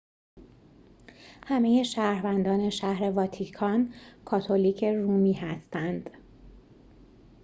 همه شهروندان شهر واتیکان کاتولیک رومی هستند